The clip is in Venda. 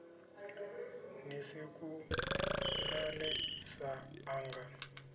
ni si kuḓane sa ṋanga